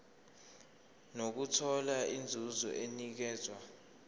nokuthola inzuzo enikezwa